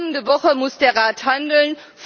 Kommende Woche muss der Rat handeln.